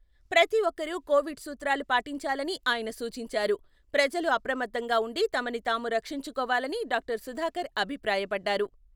ప్రతి ఒక్కరూ కోవిడ్ సూత్రాలు పాటించాలని ఆయన సూచించారు. ప్రజలు అప్రమత్తంగా ఉండి తమని తాము రక్షించుకోవాలని డాక్టర్ సుధాకర్ అభిప్రాయపడ్డారు.